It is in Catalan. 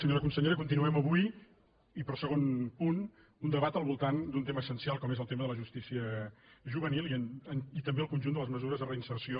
senyora consellera continuem avui i per segon punt un debat al voltant d’un tema essencial com és el tema de la justícia juvenil i també el conjunt de les mesures de reinserció